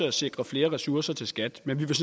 at sikre flere ressourcer til skat men vi vil